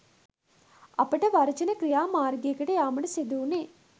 අපට වර්ජන ක්‍රියා මාර්ගයකට යාමට සිදු වුණේ